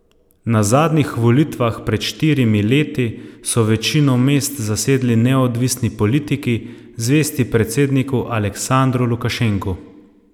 Na zadnjih volitvah pred štirimi leti so večino mest zasedli neodvisni politiki, zvesti predsedniku Aleksandru Lukašenku.